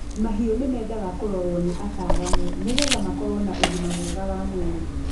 mahiũ nimendaga kũrorũo ni ataalamu niguo makorũo na ũgima mwega wa mwĩrĩ